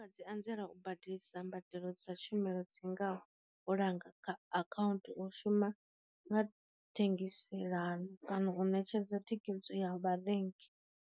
Dzi anzela u badelisa mbadelo dza tshumelo dzingaho u langa kha akhaunthu, u shuma nga thengiselano, kana u ṋetshedza thikedzo ya vharengi.